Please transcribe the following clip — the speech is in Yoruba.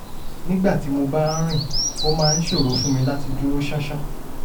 nígbà tí mo bá ń rìn ó máa ń ṣòro fún mi láti dúró ṣánṣán